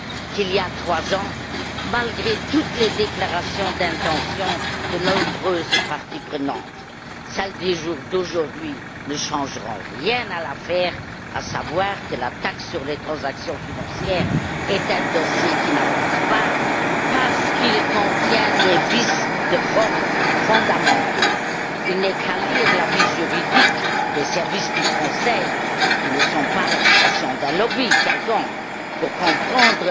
qu'il y a trois ans malgré toutes les déclarations d'intention de nombreuses parties prenantes? Celles d'aujourd'hui ne changeront rien à l'affaire, à savoir que la taxe sur les transactions financières est un dossier qui n'avance pas parce qu'il contient des vices de forme fondamentaux. Il n'est qu'à lire l'avis juridique des services du Conseil, qui ne sont pas l'expression d'un lobby quelconque, pour comprendre